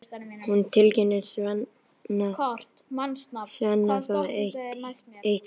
Hún tilkynnir Svenna það eitt kvöldið.